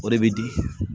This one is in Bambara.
O de bɛ di